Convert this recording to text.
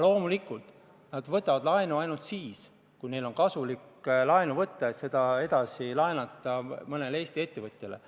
Loomulikult nad võtavad laenu ainult siis, kui neil on kasulik seda võtta, et seda edasi laenata mõnele Eesti ettevõtjale.